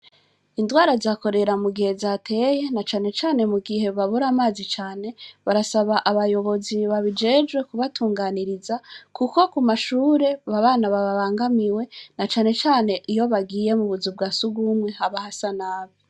Indwara za korera mugihe zateye, na cane cane mugihe babura amazi cane, barasaba abayobozi babijejwe kubatunganiriza, kuko ku mashure, abana babangamiwe, na cane cane iyo bagiye mu buzu bwa surwumwe haba hasa nabi.